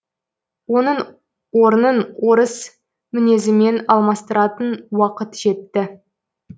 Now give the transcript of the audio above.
оның орнын орыс мінезімен алмастыратын уақыт жетті